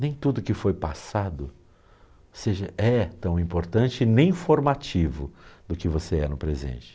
Nem tudo que foi passado seja é tão importante nem formativo do que você é no presente.